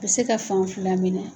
Bɛ se ka fan fila minɛ